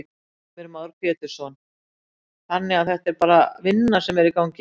Heimir Már Pétursson: Þannig að þetta er bara vinna sem er í gangi?